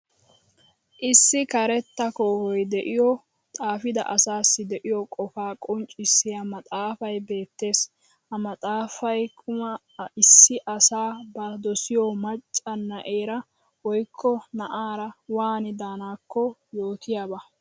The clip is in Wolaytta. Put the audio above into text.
Issi karetta koohoyi de'iyo xaafida asassi de'iya qofaa qonccissiya maxxaafay beettees. Ha maxxaafayi kma issi asi ba dosiyo macca na'eera woyikko naa'aara waani daanakko yootiyaba.